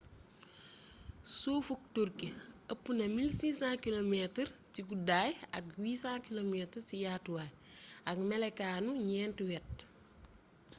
suufuk turkey ëpp na 1 600 kilometres 1 000 mi ci guddaay ak 800 km 500 mi ci yaatu waay ak mélokaanu gnénti wét